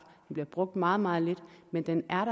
den bliver brugt meget meget lidt men den er